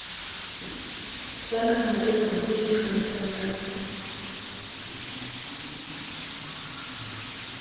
sa nahaena e ikgantshang ka